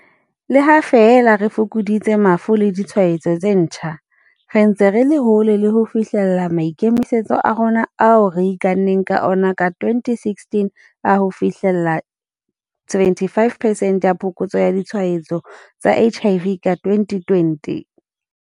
Le ha feela re fokoditse mafu le ditshwaetso tse ntjha, re ntse re le hole le ho fi hlella maikemisetso a rona ao re ikanneng ka ona ka 2016 a ho fi hlella 75 percent ya phokotso ya ditshwaetso tsa HIV ka 2020.